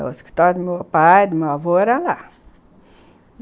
O escritório do meu pai, do meu avô era lá.